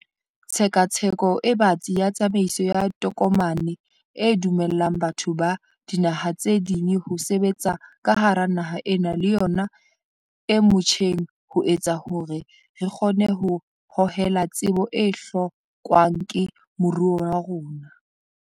Tshekatsheko e batsi ya tsamaiso ya tokomane e dumellang batho ba dinaha tse ding ho sebetsa ka hara naha ena le yona e motjheng ho etsa hore re kgone ho hohela tsebo e hlokwang ke moruo wa rona.